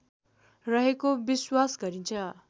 रहेको विश्वास गरिन्छ